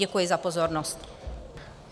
Děkuji za pozornost.